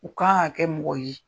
O kan kɛ mɔgɔ ye